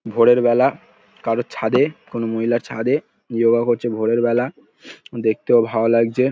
ভোরের বেলা কারোর ছাদে কোনো মহিলার ছাদে যোগা করছে |ভোরের বেলা দেখতেও ভালো লাগছে ।